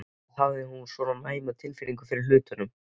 Eða hafði hún svona næma tilfinningu fyrir hlutunum?